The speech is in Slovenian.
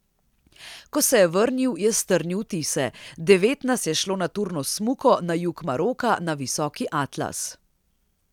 Ko se je vrnil, je strnil vtise: 'Devet nas je šlo na turno smuko na jug Maroka na Visoki Atlas.